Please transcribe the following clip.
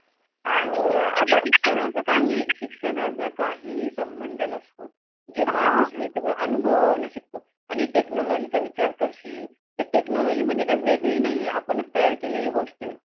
आणि अं शिक्षणा चा काही शिक्षणा चा काही समंध नसतो जे माणूस हे सगळं अनुभवा वरून शिकतो आणि technology चा विचार करशील त technology काही वेगळी नाहीये आपण च तयार केलेली गोष्ट ये